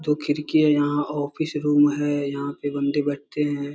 दो खिड़की है यहाँ ऑफिस रूम है यहाँ पे बंदे बैठते हैं।